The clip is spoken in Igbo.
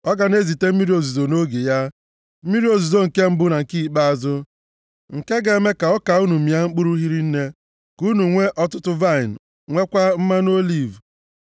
ọ ga na-ezite mmiri ozuzo nʼoge ya, mmiri ozuzo nke mbụ na nke ikpeazụ, nke ga-eme ka ọka unu mịa mkpụrụ hiri nne, ka unu nwee ọtụtụ vaịnị, nweekwa mmanụ oliv.